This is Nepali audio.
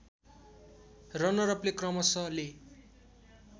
रनरअपले क्रमशःले